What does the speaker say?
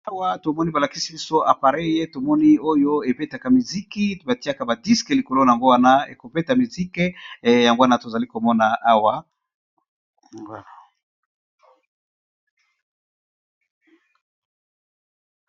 Awa tomoni balatisi biso appareil yako beta music batiyaka ba disc likolo nango wana ebeti music yango wana tozomona.